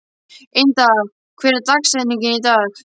Inda, hver er dagsetningin í dag?